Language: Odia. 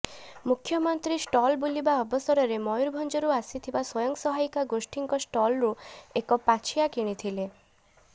ମୁଖ୍ୟମନ୍ତ୍ରୀ ଷ୍ଟଲ ବୁଲିବା ଅବସରରେ ମୟୂରଭଞ୍ଜରୁ ଆସିଥିବା ସ୍ୱୟଂ ସହାୟିକା ଗୋଷ୍ଠୀଙ୍କ ଷ୍ଟଲରୁ ଏକ ପାଛିଆ କିଣିଥିଲେ